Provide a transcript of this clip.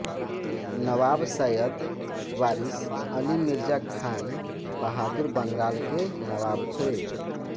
नवाब सैयद वारिस अली मिर्ज़ा खान बहादुर बंगाल के नवाब थे